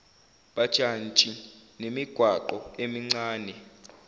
bajantshi nemigwaqo emincane